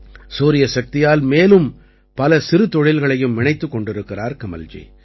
சூரியசக்தியால் மேலும் பல சிறுதொழில்களையும் இணைத்துக் கொண்டிருக்கிறார் கமல்ஜி